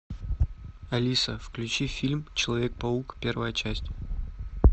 алиса включи фильм человек паук первая часть